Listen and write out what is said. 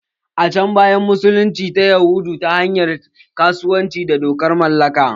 A can baya, musulunci ta yadu ne ta hanyar kasuwanci da dokan mallaka.